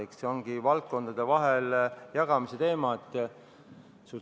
Eks see olegi valdkondade vahel jagamise teema.